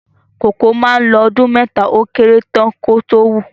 Kòkó mà ń lo ọdún mẹ́ta ó kéré tán kí ó tó wù